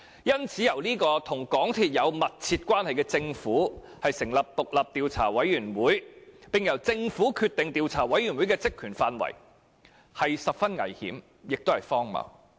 因此，由與港鐵公司有密切關係的政府成立獨立調查委員會，並決定該委員會的職權範圍，是十分危險和荒謬的做法。